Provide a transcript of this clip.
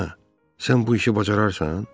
Hə, sən bu işi bacararsan?